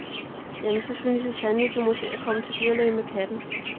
Jamen så synes jeg sandelig, du må se at komme til dyrlæge med katten.